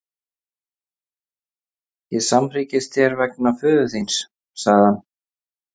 Ég samhryggist þér vegna föður þíns, sagði hann.